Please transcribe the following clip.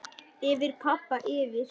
Yfir pabba, yfir